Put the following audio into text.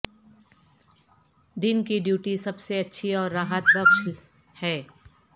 دن کی ڈیوٹی سب سے اچھی اور راحت بخش ہے